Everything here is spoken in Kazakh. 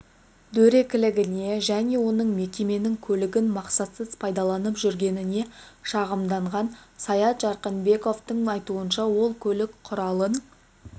дөрекілігіне және оның мекеменің көлігін мақсатсыз пайдаланып жүргеніне шағымданған саят жарқынбековтың айтуынша ол көлік құралын